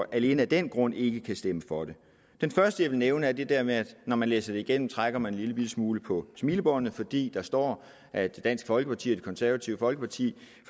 alene af den grund ikke kan stemme for det det første jeg vil nævne er det der med at når man læser det igennem trækker man en lillebitte smule på smilebåndet fordi der står at dansk folkeparti og det konservative folkeparti